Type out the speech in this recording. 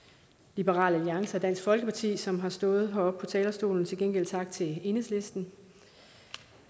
liberal alliance og dansk folkeparti som har stået heroppe på talerstolen til gengæld tak til enhedslisten